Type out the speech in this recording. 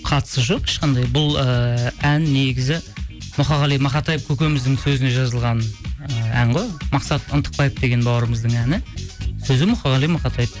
қатысы жоқ ешқандай бұл ыыы ән негізі мұқағали мақатаев көкеміздің сөзіне жазылған ы ән ғой мақсат ынтықбаев деген бауырымыздың әні сөзі мұқағали мақатаев